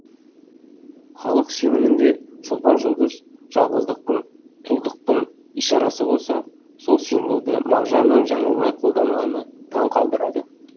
халық сенімінде шолпан жұлдыз жалғыздықтың тұлдықтың ишарасы болса сол символды мағжанның жаңылмай қолданғаны таң қалдырады